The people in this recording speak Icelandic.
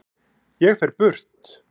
Ég fer burt.